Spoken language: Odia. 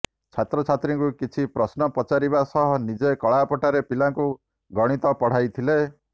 ଛାତ୍ରଛାତ୍ରୀଙ୍କୁ କିଛି ପ୍ରଶ୍ନ ପଚାରିବା ସହ ନିଜେ କଳାପଟାରେ ପିଲାଙ୍କୁ ଗଣିତ ପଢାଇଥିଲେ